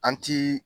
An ti